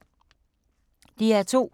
DR2